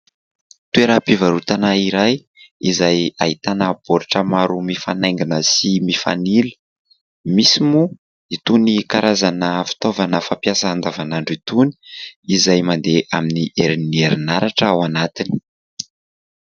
Toeram-pivaroatana iray, izay ahitana baoritra maro mifanaingina sy mifanila. Misy moa itony karazana fitaovana fampiasa andavanandro itony izay mandeha amin'ny herin'ny herinaratra ao anatiny.